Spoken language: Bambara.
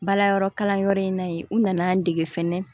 Bala yɔrɔ kalanyɔrɔ in na yen u nana an dege fɛnɛ